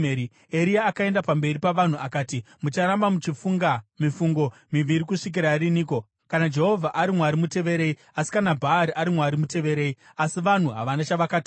Eria akaenda pamberi pavanhu akati, “Mucharamba muchifunga mifungo miviri kusvikira riniko? Kana Jehovha ari Mwari, muteverei; asi kana Bhaari ari Mwari, muteverei.” Asi vanhu havana chavakataura.